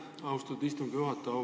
Aitäh, austatud istungi juhataja!